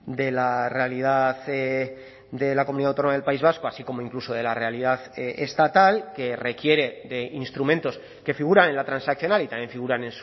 de la realidad de la comunidad autónoma del país vasco así como incluso de la realidad estatal que requiere de instrumentos que figuran en la transaccional y también figuran